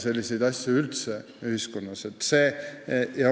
Selliseid asju peaks üldse ühiskonnas vältima.